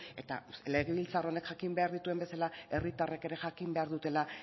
eta legebiltzar honek jakin behar dituen bezala herritarrek ere jakin behar dutela